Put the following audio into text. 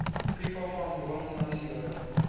people from wilmslow